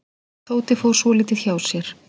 Tóti fór svolítið hjá sér.